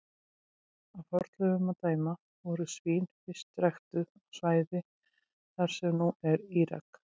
Af fornleifum að dæma voru svín fyrst ræktuð á svæðum þar sem nú er Írak.